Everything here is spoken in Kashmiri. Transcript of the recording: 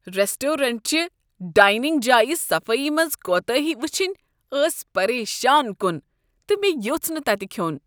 ریسٹرٛورنٛٹ چہِ ڈایننٛگ جایہِ صفٲیی منٛز كوتٲہی وٕچھنۍ ٲس پریشان كُن، تہٕ مےٚ یوٚژھ نہٕ تتہِ كھیوٚن۔